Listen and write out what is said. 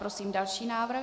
Prosím další návrh.